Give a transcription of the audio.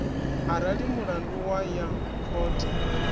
arali mulandu wa ya khothe